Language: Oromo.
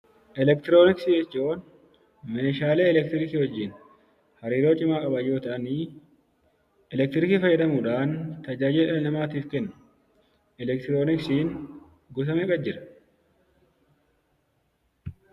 Elektirooniksii jechuun meeshaalee elektirikiii wajjin hariiroo cimaa qaban yoo ta'ani, elektirikii fayyadamuudhaan tajaajila dhala namaatiif kennu. Elektirooniksiin gosa meeqa jira?